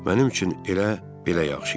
Mənim üçün elə belə yaxşı idi.